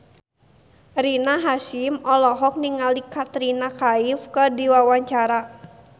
Rina Hasyim olohok ningali Katrina Kaif keur diwawancara